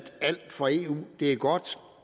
alt fra eu er godt